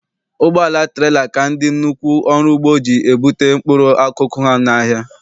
Ụgbọala trela ka ndị nnukwu ọrụugbo ji ebute mkpụrụ akụkụ ha n'ahịa.